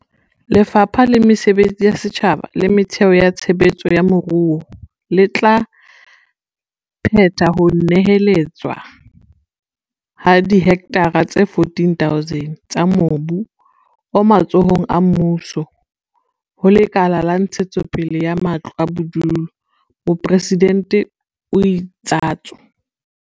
"Lefapha la Mesebetsi ya Setjhaba le Metheo ya Tshe betso ya Moruo le tla phetha ho neheletswa ha dihektara tse 14 000 tsa mobu o matsohong a mmuso ho Lekala la Ntshetsopele ya Matlo a Bodulo," Mopresidente o itsatso.